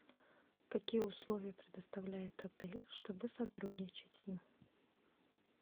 какие условия предоставляет отель чтобы сотрудничать с ним